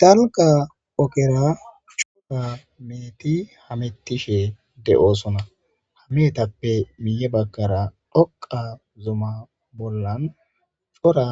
Danga okera cora meeti hamettishe de'osona hamiyetappe miye bagkara dhoqa zuma bollan cora